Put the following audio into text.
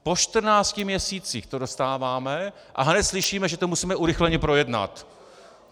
Po čtrnácti měsících to dostáváme a hned slyšíme, že to musíme urychleně projednat.